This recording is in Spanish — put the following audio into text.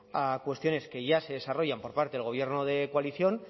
a cuestiones que ya se desarrollan por parte del gobierno de coalición